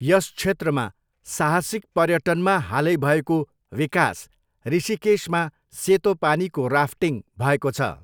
यस क्षेत्रमा साहसिक पर्यटनमा हालै भएको विकास ऋषिकेशमा सेतो पानीको राफ्टिङ भएको छ।